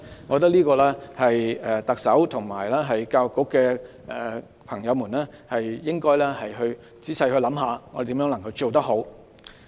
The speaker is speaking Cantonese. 我覺得特首和教育局的朋友應該仔細想想如何可以做得好。